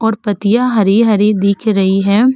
और पतिया हरि-हरि दिख रही है।